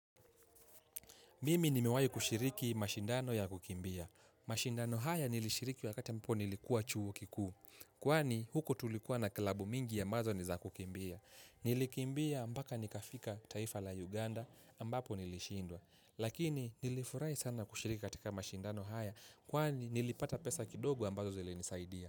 Mimi nimewahi kushiriki mashindano ya kukimbia. Mashindano haya nilishiriki wakati ambapo nilikuwa chuo kikuu. Kwani huku tulikuwa na klabu mingi ya ambazo niza kukimbia. Nilikimbia mpaka nikafika taifa la Uganda ambapo nilishindwa. Lakini nilifurahi sana kushiriki katika mashindano haya. Kwani nilipata pesa kidogo ambazo zili nisaidia.